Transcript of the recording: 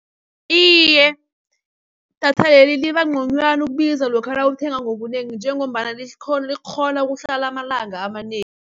Iye, idatha leli libangconywana ukubiza lokha nawulithenga ngobunengi, njengombana likghona ukuhlala amalanga amanengi.